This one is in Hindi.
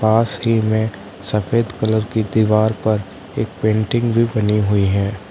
पास ही में सफेद कलर की दीवार पर एक पेंटिंग भी बनी हुई है।